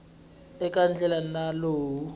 eka ndlela ya nawu lowu